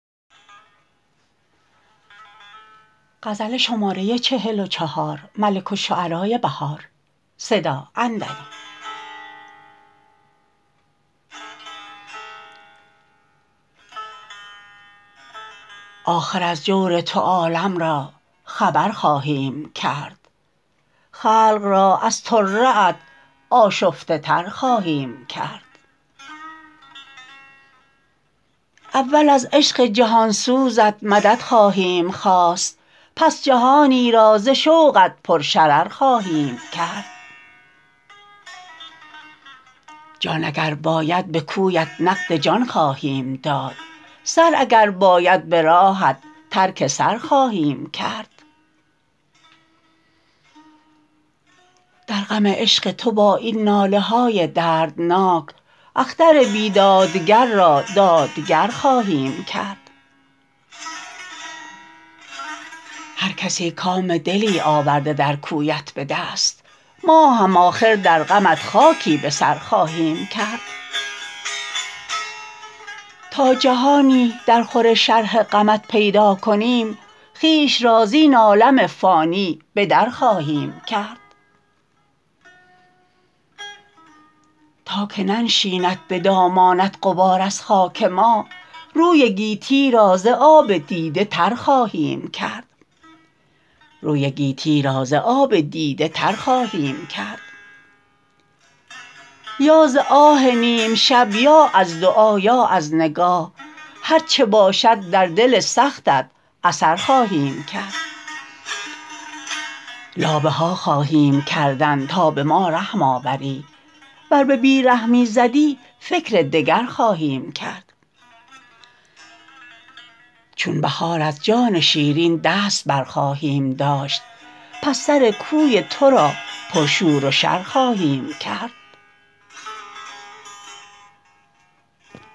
آخر از جور تو عالم را خبر خواهیم کرد خلق را از طره ات آشفته تر خواهیم کرد اول از عشق جهانسوزت مدد خواهیم خواست پس جهانی را ز شوقت پر شرر خواهیم کرد جان اگر باید به کوی ات نقد جان خواهیم داد سر اگر باید به راهت ترک سر خواهیم کرد در غم عشق تو با این ناله های دردناک اختر بیدادگر را دادگر خواهیم کرد هرکسی کام دلی آورده درکویت به دست ماهم آخر در غمت خاکی به سر خواهیم کرد تا جهانی درخور شرح غمت پیداکنیم خویش را زین عالم فانی بدر خواهیم کرد تاکه ننشیند به دامانت غبار از خاک ما روی گیتی را ز آب دیده تر خواهیم کرد یا ز آه نیم شب یا از دعا یا از نگاه هرچه باشد در دل سختت اثر خواهیم کرد لابه ها خواهیم کردن تا به ما رحم آوری ور به بی رحمی زدی فکر دگر خواهیم کرد چون بهار از جان شیرین دست برخواهیم داشت پس سرکوی تو را پرشور و شر خواهیم کرد